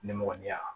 Nemɔgɔninya